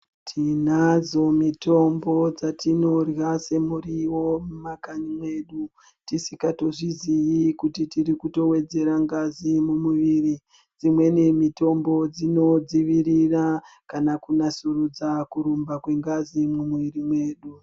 Tinadzo mitombo dzatinorya semuriwo mumakanyi medu, tisikaziyi kuti tirikutowedzera ngazi mumwiri. Dzimweni mitombo dzinodzivirira kana kunasurudza kurumba kwengazi mumwiri medu.